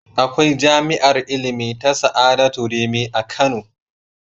Akwai jami'ar ilimi ta Sa'adatu Rimi a Kano.